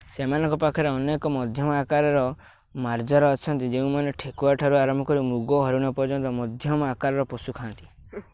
ସେମାନଙ୍କ ପାଖରେ ଅନେକ ମଧ୍ୟମ ଆକାରର ମାର୍ଜାର ଅଛନ୍ତି ଯେଉଁମାନେ ଠେକୁଆଠାରୁ ଆରମ୍ଭ କରି ମୃଗ ଓ ହରିଣ ପର୍ଯ୍ୟନ୍ତ ମଧ୍ୟମ ଆକାରର ପଶୁ ଖା'ନ୍ତି